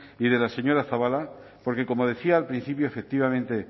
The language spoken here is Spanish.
y de la señora zabala porque como decía al principio efectivamente